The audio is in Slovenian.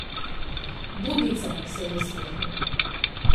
Budnica, se je nasmehnil.